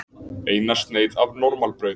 Eina sneið af normalbrauði.